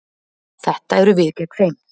Þetta eru við gegn þeim.